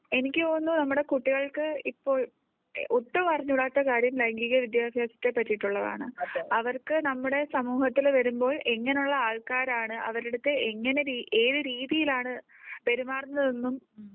എനിക്ക് തോന്നുന്നു നമ്മുടെ കുട്ടികൾക്ക് ഇപ്പോൾ ഒട്ടും അറിഞ്ഞുകൂടാത്ത കാര്യം ലൈംഗിക വിദ്യാഭ്യാസത്തെ പറ്റിയിട്ടുള്ളതാണ് . അവർക്ക് നമ്മുടെ സമൂഹത്തിൽ വരുമ്പോൾ എങ്ങനെ ഉള്ള ആൾക്കാരാണ് അവരുടെ അടുത്ത് എങ്ങനെ ഏതു രീതിയിലാണ് പെരുമാറുന്നതെന്നും